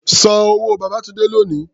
San owó Babátúndé lónìí!